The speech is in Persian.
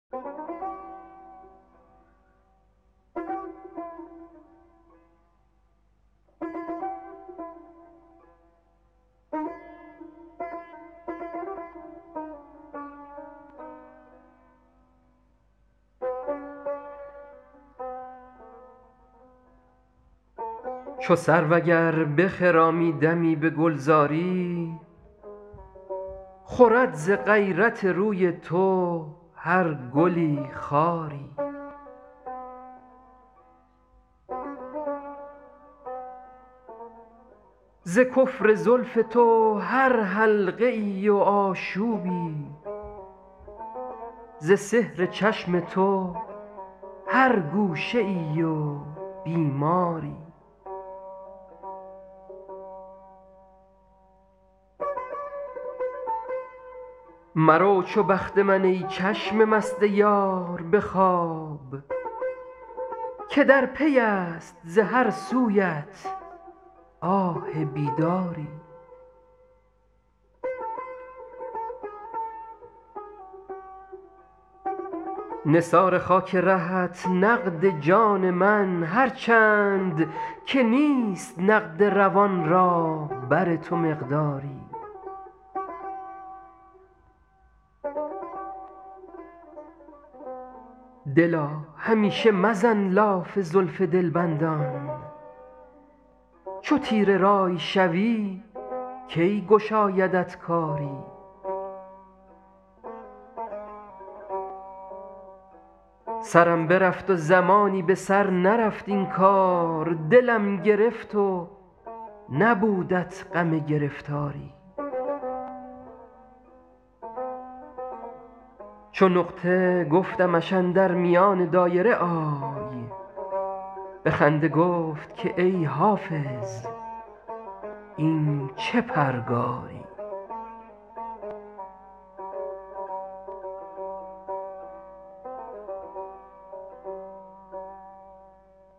چو سرو اگر بخرامی دمی به گلزاری خورد ز غیرت روی تو هر گلی خاری ز کفر زلف تو هر حلقه ای و آشوبی ز سحر چشم تو هر گوشه ای و بیماری مرو چو بخت من ای چشم مست یار به خواب که در پی است ز هر سویت آه بیداری نثار خاک رهت نقد جان من هر چند که نیست نقد روان را بر تو مقداری دلا همیشه مزن لاف زلف دلبندان چو تیره رأی شوی کی گشایدت کاری سرم برفت و زمانی به سر نرفت این کار دلم گرفت و نبودت غم گرفتاری چو نقطه گفتمش اندر میان دایره آی به خنده گفت که ای حافظ این چه پرگاری